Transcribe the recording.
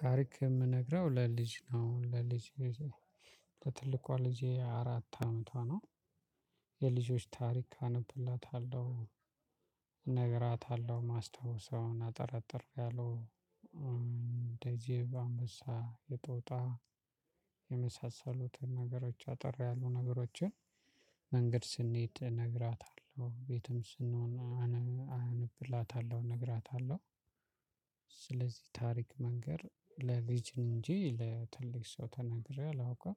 ታሪክ የምነግረው ለልጅ ነው ለልጅ ልጅ ነው ለትልቋ ልጄ አራት አመቷ ነው የልጆች ታሪክ አነብላታለሁ እነግራታለሁ የማስታውሰውን አጠር አጠር ያሉ እንደ ዜብራ አምበሳ የጦጣ የመሳሰሉትን ነገሮች አጠር ያሉ ነገሮችን መንገድ ስንሄድ እነግራታለሁ ቤትም ስንሆን አነብላታለሁ እነግራታለሁ። ስለዚህ ታሪክ መንገር ለልጅ እንጂ ለትልቅ ሰው ተናግሬ አላውቅም